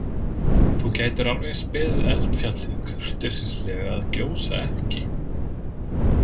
Þú gætir alveg eins beðið eldfjallið kurteislega að gjósa ekki.